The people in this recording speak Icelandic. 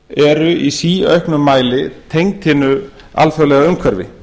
eru í síauknum mæli tengd hinu alþjóðlega umhverfi